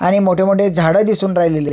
आणि मोठे मोठे झाड दिसून राहिलेले आहे.